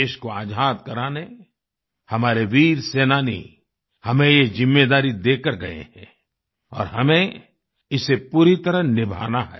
देश को आज़ाद कराने हमारे वीर सेनानी हमें ये जिम्मेदारी देकर गए हैं और हमें इसे पूरी तरह निभाना है